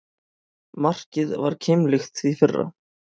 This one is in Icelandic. Markið var keimlíkt því fyrra